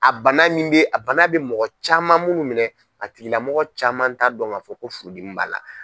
A bana min bɛ, a bana bɛ mɔgɔ caman munnu minɛ, a tigilamɔgɔ caman ta dɔn ka fɔ ko furu dim b'ala.